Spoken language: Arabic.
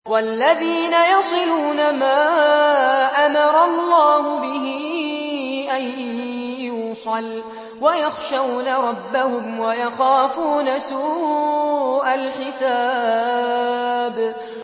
وَالَّذِينَ يَصِلُونَ مَا أَمَرَ اللَّهُ بِهِ أَن يُوصَلَ وَيَخْشَوْنَ رَبَّهُمْ وَيَخَافُونَ سُوءَ الْحِسَابِ